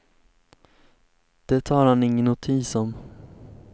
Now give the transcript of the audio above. Det tar han ingen notis om.